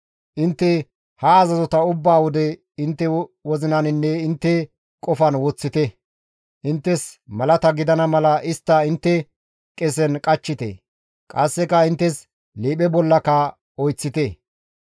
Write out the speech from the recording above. Intte ha azazota ubba wode intte wozinaninne intte qofan woththite; inttes malata gidana mala istta intte qesen qachchite; qasseka inttes liiphe bollaka oyththite.